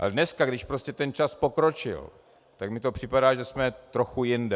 Ale dneska, když prostě ten čas pokročil, tak mi to připadá, že jsme trochu jinde.